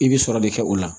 I bɛ sɔrɔ de kɛ o la